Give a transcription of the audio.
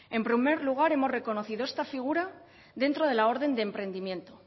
en primer lugar hemos reconocido esta figura dentro de la orden de emprendimiento